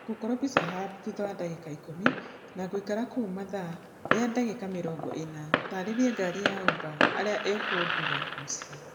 ngũkorwo pizza hub thũtha wa dagiĩka ikũmi na ngũikara kũu mathaa rĩa dagĩka mĩrongo ĩna taarĩria ngari ya uba arĩa ĩkũndüra mũciĩ